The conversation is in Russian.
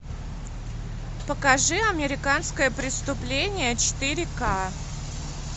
покажи американское преступление четыре к